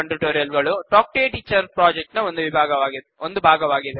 spoken tutorial ಗಳು talk to a teacher project ನ ಒಂದು ಭಾಗವಾಗಿದೆ